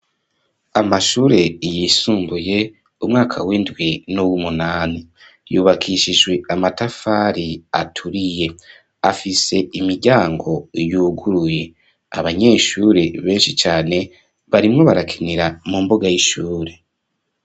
Amashure yisumbuye umwaka w'indwi n'uwumunani, yubakishijwe amatafari aturiye afise imiryango yuguruye, abanyeshure benshi cane barimwo barakinira mu mbuga y'ishure.